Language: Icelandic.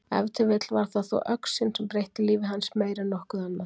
Ef til vill var það þó öxin sem breytti lífi hans meir en nokkuð annað.